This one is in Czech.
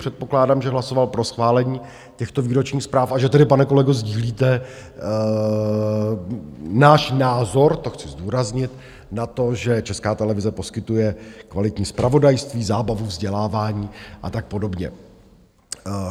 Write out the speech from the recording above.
Předpokládám, že hlasoval pro schválení těchto výročních zpráv a že tedy, pane kolego, sdílíte náš názor - to chci zdůraznit - na to, že Česká televize poskytuje kvalitní zpravodajství, zábavu, vzdělávání a tak podobně.